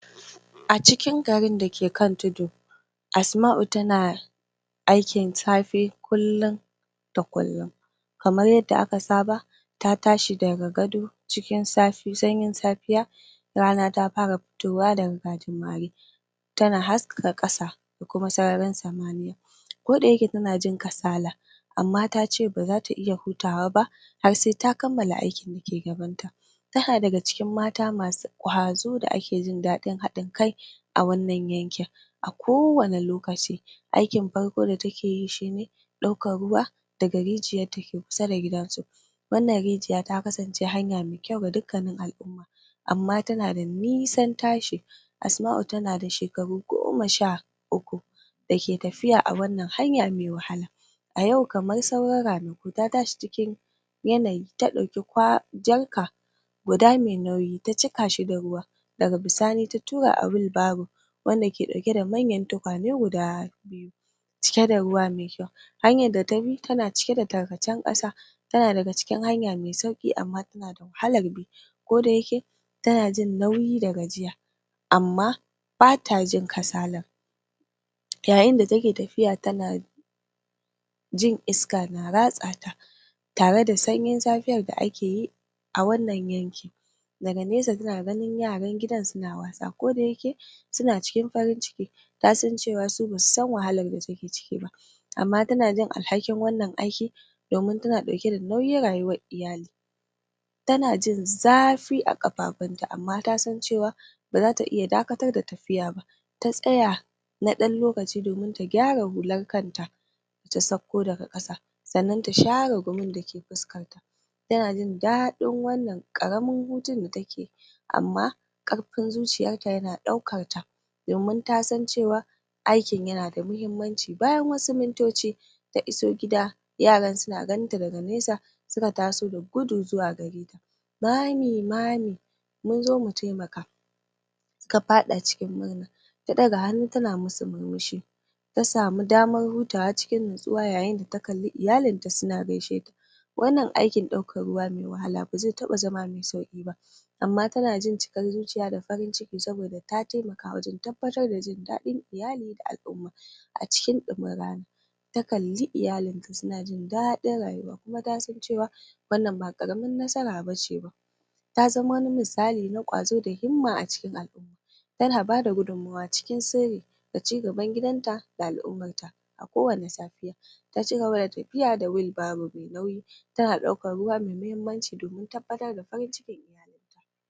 Shekaru aru aru mutane sunyi imani cewa yanayin sanyi yana haifar da mura da mura kai tsaye amba da cewa amba da wannan ra'ayi ta cikin tsararraki, kuma mutane da yawa har yanzu suna ganin cewa shiga cikin sanyi ba tare da sutura ba da ta dace ba zai haifar dashin lafiya duk da haka wannan kuskure yanayin sanyi da kansa bashi ne farkon dalilin mura ba maimakon haka haɗuwa ne na abubawa dake haifar da yaɗuwar waɗannan cututtuka a cikin watanni na huturu ɗaya daga cikin manyan dalilan da mutane ke fama da rashin a lokaci sanyi shine saboda ƙarancin zafi bushashshiyar iska na iya sa kwayoyin mucus a cikin hanci da makwogaro kamuwa da cututtukan kwayoyin cuta bugu da ƙari, a lokacin sanyi mutane sun fi zama a gida inda suke fuskantar iska da aka ssss um aka sarrafasu wanda zai iya ƙunsar kwayoyin cuta da sauran cututtuka wannan ƙara yawan kamuwa da kwayoyin cuta haɗe da ƙarancin zafi yana sauƙaƙawa mutane yin rashin lafiya wani abun dake taimakawa wajan yaɗuwar mura a lokacin sanyi shine ƙaruwar yaɗuwar kwayar cuta yanayin sanyi na iya sa mutane su iya taɓa fuskokin su wanda zai iya yaɗa kwayoyin cuta daga hannayen su zuwa idanu, hanci da baki bugu da ƙari damuwa mai sanyi na iya raunan tsarin rigakafi yana sa mutane su fi dacewa da rashin lafiya sauran abubauwa da suka haɗa da rashin kyaun yanayin iska ƙaruwar cuɗanya da jama'a da ƙarancin vitemin D suma suna taka rawa wajan yaɗuwar mura lokacin sanyi rashin issassun iska a cikin gine-gine da gidaje na iya bada damar kwayoyin cuta su daɗe a cikin iska yayin da tsarun yayin da taron biki da sauran abubawan zamantakewa na iya ƙara damar watsa kwayar cuta ƙananan matakan vitamin B waɗanda zuka zama ruwan dare a cikin watannin na hunturi kuma na iya lalata aikin rigakafi, a ƙarshe, yayain da yanayin sanyi bazai zaman sanadin muh yana iya bada gudunmawa ga yanayin dake haifar da yaɗuwar waɗanana ta fahimtar ainihin dalilin dake faifar da yaɗuwar mura zamu iya ɗaurar matakai dan kare kan mu da ƙaunantun mu yin tsaafta mai kyau kasan cewa cikin motsa jiki da samun issasshen vitamin D duk na iya taikamawa wajan haɓaka tsarin garkuwan jinmu da hana rashin lafiya don haka a gaba lokacin da aka jarabce ku da ku zargi yanayin sanyi da rashin lafiyar ku ku tuna cewa ba sanyin kansa bane kansan ku rashin lafiya sai dai haɗuwa da abubauwan da za'a iya hana su da ɗan sanyi da taka tsantsan